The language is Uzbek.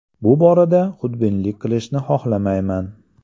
Bu borada xudbinlik qilishni xohlamayman.